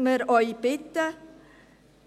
Deshalb möchten wir Sie bitten,